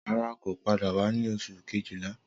Rara, ko pada wa ni Oṣu kejila